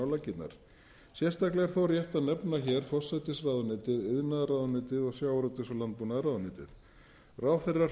laggirnar sérstaklega er þó rétt að nefna hér forsætisráðuneytið iðnaðarráðuneytið og sjávarútvegs og landbúnaðarráðuneytið ráðherrar